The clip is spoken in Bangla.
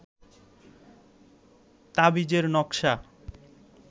তাবিজের নকশা